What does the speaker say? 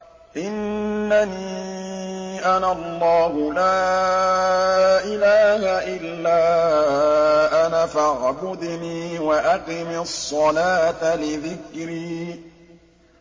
إِنَّنِي أَنَا اللَّهُ لَا إِلَٰهَ إِلَّا أَنَا فَاعْبُدْنِي وَأَقِمِ الصَّلَاةَ لِذِكْرِي